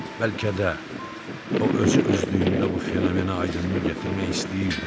Bəlkə də o özü-özlüyündə bu fenomeni aydınlıq gətirmək istəyirdi.